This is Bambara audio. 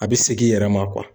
A bɛ segin i yɛrɛ ma